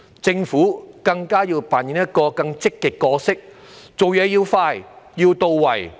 政府要扮演更積極的角色，辦事要快、要到位。